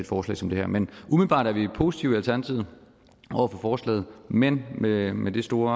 forslag som det her men umiddelbart er vi positive i alternativet over for forslaget men med med det store